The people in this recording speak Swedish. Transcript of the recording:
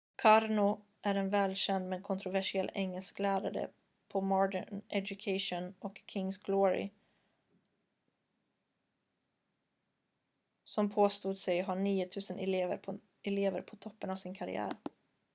karno är en välkänd men kontroversiell engelsklärare på modern education och king's glory som påstod sig ha 9 000 elever på toppen av sin karriär